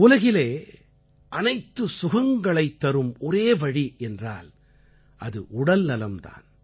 உலகிலே அனைத்து சுகங்களைத்தரும் ஒரே வழி என்றால் அது உடல்நலம் தான்